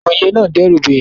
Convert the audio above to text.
Ìwòye náà n dẹ́rùba èèyàn